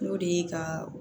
N'o de ye ka